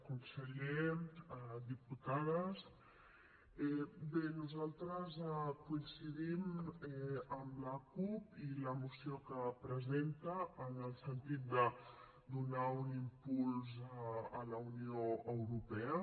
conseller diputades bé nosaltres coincidim amb la cup i la moció que presenta en el sentit de donar un impuls a la unió europea